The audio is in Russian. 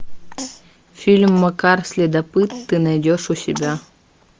фильм макар следопыт ты найдешь у себя